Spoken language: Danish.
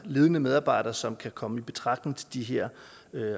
ledende medarbejder som kan komme i betragtning til de her